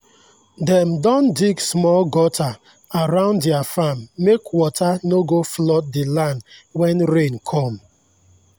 dem don dig small gutter around their farm make water no go flood the land when rain come.